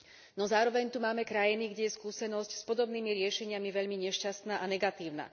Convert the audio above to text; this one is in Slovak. No zároveň tu máme krajiny, kde je skúsenosť s podobnými riešeniami veľmi nešťastná a negatívna.